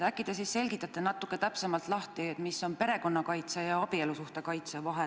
Äkki te selgitate natuke täpsemalt, mis on perekonna kaitse ja abielusuhte kaitse vahe.